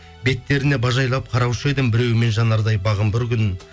беттеріне бажайлап қараушы едім біреуімен жанардай бағым бір күн